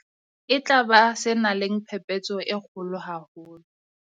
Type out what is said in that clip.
E tla ba se nang le phephetso e kgolo haholo.